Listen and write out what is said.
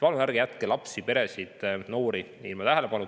Palun ärge jätke lapsi, peresid ja noori tähelepanuta!